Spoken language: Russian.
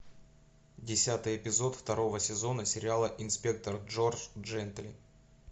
десятый эпизод второго сезона сериала инспектор джордж джентли